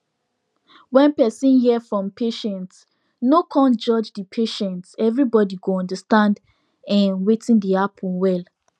wen person ear from patient no cun judge the patient everybody go understand en wetin dey happen well